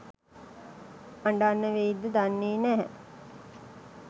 අඬන්න වෙයිද දන්නේ නැහැ.